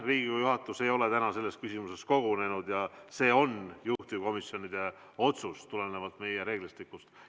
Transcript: Riigikogu juhatus ei ole täna selles küsimuses kogunenud ja tegu on juhtivkomisjonide otsusega tulenevalt meie reeglistikust.